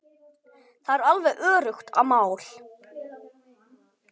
Það er alveg öruggt mál.